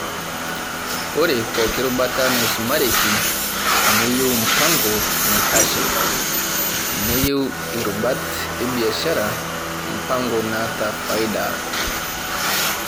Ore pooki rubata naisumareki neyeu mpango naitashe, neyiew irubat ebishiara mpango naata faida.